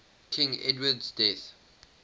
king edward's death